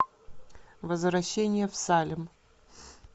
возвращение в салем